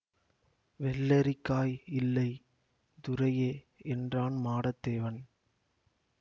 வெள்ளரிக்காய் இல்லை துரையே என்றான் மாடத்தேவன்